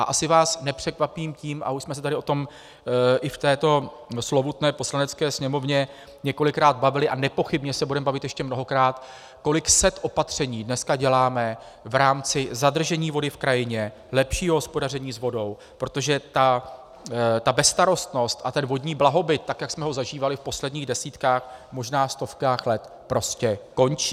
A asi vás nepřekvapím tím, a už jsme se tady o tom i v této slovutné Poslanecké sněmovně několikrát bavili a nepochybně se budeme bavit ještě mnohokrát, kolik set opatření dneska děláme v rámci zadržení vody v krajině, lepšího hospodaření s vodou, protože ta bezstarostnost a ten vodní blahobyt, tak jak jsme ho zažívali v posledních desítkách, možná stovkách let, prostě končí.